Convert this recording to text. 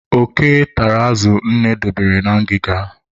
Oke tara azụ nne dobere na ngịga.